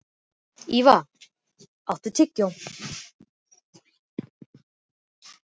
Ylva, áttu tyggjó?